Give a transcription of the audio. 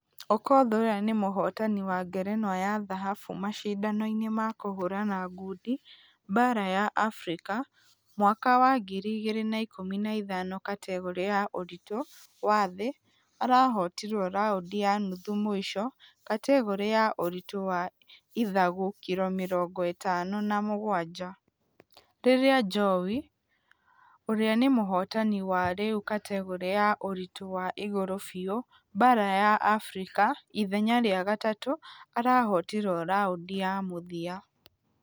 Okoth ũrĩa nĩ mũhotani wa ngerenwa ya dhahabu mashidano-inĩ ma kũhũrana ngundi baara ya africa mwaka wa ngiri igĩrĩ na ikũmi na ithano kategore ya ũritũ wa thĩ arahotirwo raundi ya nuthu mũisho kategore ya ũritũ wa ithagu kiro mĩrongo ĩtano na mũgwaja. Rĩrĩa ajowi ũrĩa nĩ mũhotani wa rĩu kategore ya ũritũ wa igũrũ biũ baara ya africa ithenya rĩa gatatũ arahotirwo raundi ya .....mũthia.